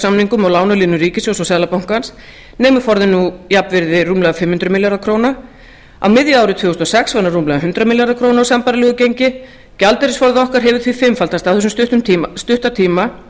og lánalínum ríkissjóðs og seðlabankans nemur forðinn nú jafnvirði rúmlega fimm hundruð milljarða króna á miðju ári tvö þúsund og sex var hann rúmlega hundrað milljarðar króna á sambærilegu gengi gjaldeyrisforði okkar hefur því fimmfaldast á þessum stutta tíma